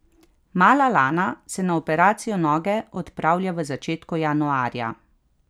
Mala Lana se na operacijo noge odpravlja v začetku januarja.